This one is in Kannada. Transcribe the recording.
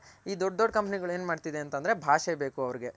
ಈ ದೊಡ್ಡ್ ದೊಡ್ಡ್ ಕಂಪನಿಗಳ್ ಏನ್ ಮಾಡ್ತಿದೆ ಅಂತ ಅಂದ್ರೆ ಭಾಷೆ ಬೇಕು ಅವರ್ಗೆ